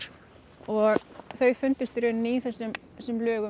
og þau fundust í rauninni í þessum lögum